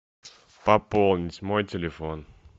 пополнить мой телефон